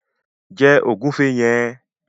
Jẹ ògúnfe yẹn!